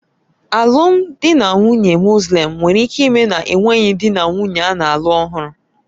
Alụmdi na nwunye Mọslem nwere ike ime na-enweghị dị na nwunye ana-alụ ọhụrụ